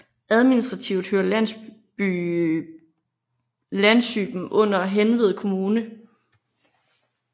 Administrativt hører landsyben under Hanved Kommune